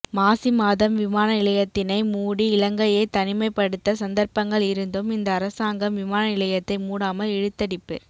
மாசி மாதம் விமான நிலையத்தினை மூடி இலங்கையை தனிமைப்படுத்த சந்தர்ப்பங்கள் இருந்தும் இந்த அரசாங்கம் விமான நிலையத்தை மூடாமல் இழுத்தடிப்பு